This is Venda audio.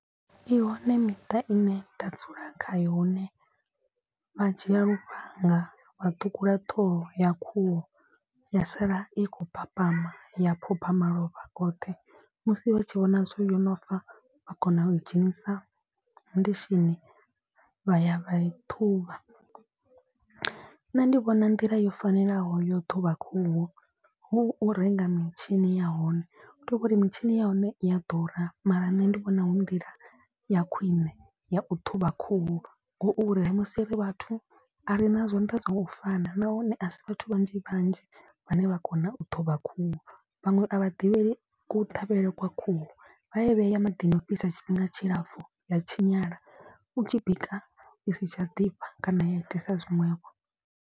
I hone miṱa i ne nda dzula kha yo hune vha dzhia lufhanga wa ṱhukhula ṱhoho ya khuhu ya sala i khou papama ya phopha malofha oṱhe. Musi vha tshi vhona zwori yo no fa vha kona u i dzhenisa ndishini vha ya vha i ṱhuvha. Nṋe ndi vhona nḓila yo fanelaho yo ṱhuvha khuhu hu u renga mitshini ya hone. Hu tovhori mitshini ya hone i ya ḓura mara nṋe ndi vhona hu nḓila ya khwine ya u ṱhuvha khuhu. Ngauri musi ri vhathu a ri na zwanḓa zwo u fana nahone a si vhathu vhanzhi vhanzhi vhane vha kona u ṱhuvha khuhu. Vhaṅwe a vha ḓivhei kuṱhavhele kwa khuhu vha ya I vheya maḓini ofhisa tshifhinga tshilapfu ya tshinyala u tshi bika i si tsha ḓifha kana ya itisa zwiṅwevho.